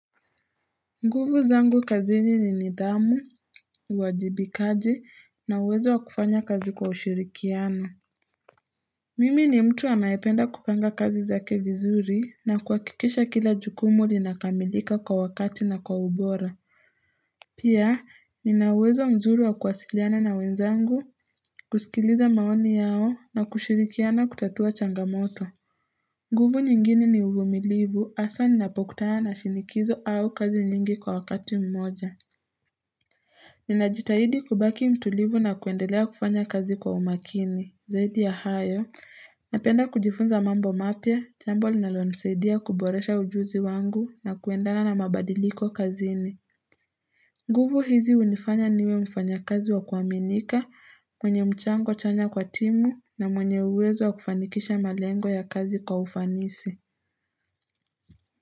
Nguvu zangu kazini ni nidhamu, uwajibikaji na uwezo wa kufanya kazi kwa ushirikiano Mimi ni mtu anaependa kupanga kazi zake vizuri na kuhakikisha kila jukumu linakamilika kwa wakati na kwa ubora Pia ninauwezo mzuri wa kuwasiliana na wenzangu kusikiliza maoni yao na kushirikiana kutatua changamoto nguvu nyingine ni uvumilivu, hasa ninapokutana shinikizo au kazi nyingi kwa wakati mmoja Ninajitahidi kubaki mtulivu na kuendelea kufanya kazi kwa umakini, zaidi ya hayo, napenda kujifunza mambo mapya, jambo linalonisaidia kuboresha ujuzi wangu na kuendana na mabadiliko kazini. Nguvu hizi unifanya niwe mfanyakazi wa kuaminika, mwenye mchango chanya kwa timu na mwenye uwezo wa kufanikisha malengo ya kazi kwa ufanisi.